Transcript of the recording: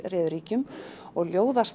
réðu ríkjum og